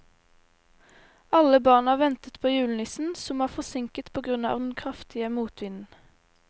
Alle barna ventet på julenissen, som var forsinket på grunn av den kraftige motvinden.